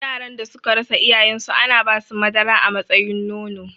Yaran da suka rasa iyayen su ana basu madara a matsayin nono